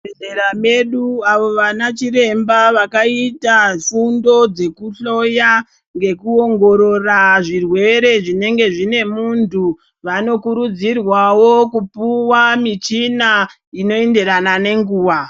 ...zvibhehera medu avo vana chiremba vakaita fundo dzekuhloya ngekuongorora zvirwere zvinenge zvinemuntu vanokurudzirwawo kupuwa michina inoenderana nenguva.